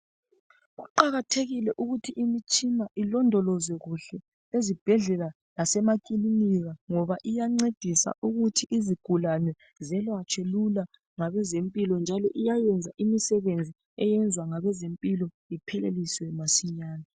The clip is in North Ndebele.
Kuqakathekile ukuthi imitshina ilondolozwe kuhle ezibhedlela lasemakilinika ngoba iyancedisa ukuthi izigulane ziyelatshwe lula njalo iyayenza imisebenzi eyenziwa ngabezempilakahle ipheleliswe masinyane.